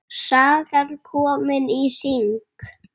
Sagan komin í hring.